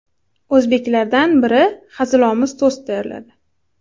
O‘zbeklardan biri hazilomuz tost tayyorladi.